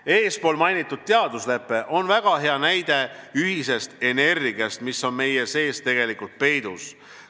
Eespool mainitud teaduslepe on väga hea näide ühisest energiast, mis on meie sees tegelikult peidus.